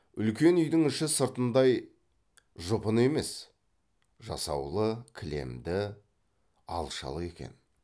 үлкен үйдің іші сыртындай жұпыны емес жасаулы кілемді алашалы екен